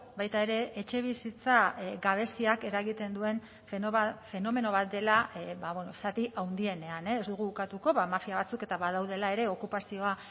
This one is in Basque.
baita ere etxebizitza gabeziak eragiten duen fenomeno bat dela zati handienean ez dugu ukatuko mafia batzuk eta badaudela ere okupazioa